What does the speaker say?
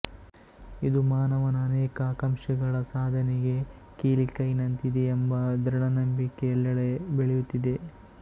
ಇದು ಮಾನವನ ಅನೇಕ ಆಕಾಂಕ್ಷೆಗಳ ಸಾಧನೆಗೆ ಕೀಲಿಕೈನಂತಿದೆಯೆಂಬ ದೃಢನಂಬಿಕೆ ಎಲ್ಲೆಡೆ ಬೆಳೆಯುತ್ತಿದೆ